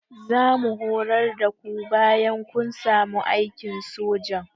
Zamu horar da ku bayan kun samu aikin sojan